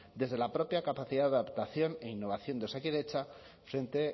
desde la propia capacidad de adaptación e innovación de osakidetza frente